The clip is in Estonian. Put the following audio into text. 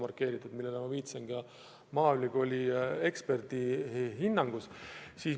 Ma viitasin sellele ka maaülikooli eksperdi hinnangust rääkides.